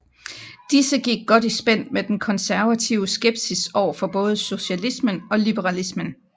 Disse gik godt i spænd med den konservative skepsis overfor både socialismen og liberalismen